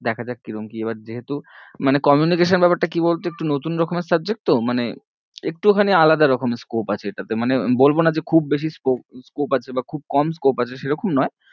দেখা যাক কিরম কি এবার যেহুতু মানে communication ব্যাপারটা কি বল তো একটু নতুন রকমের subject তো মানে একটুখানি আলাদা রকমের scope আছে এটাতে, মানে বলবো না যে খুব বেশি sco~ scope আছে বা খুব কম scope আছে সেরকম নয়